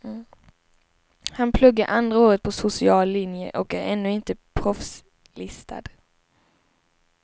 Han pluggar andra året på social linje och är ännu inte proffslistad.